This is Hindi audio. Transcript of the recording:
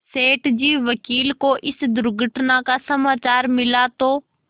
सेठ जी वकील को इस दुर्घटना का समाचार मिला तो